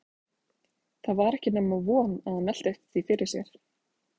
Það var ekki nema von að hann velti því fyrir sér.